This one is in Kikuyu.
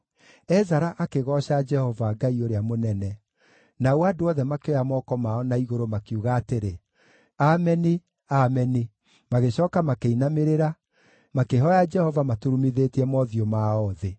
Ezara akĩgooca Jehova, Ngai ũrĩa mũnene; nao andũ othe makĩoya moko mao na igũrũ makiuga atĩrĩ, “Ameni! Ameni!” Magĩcooka makĩinamĩrĩra, makĩhooya Jehova maturumithĩtie mothiũ mao thĩ.